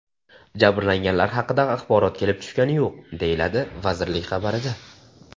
Jabrlanganlar haqida axborot kelib tushgani yo‘q”, deyiladi vazirlik xabarida.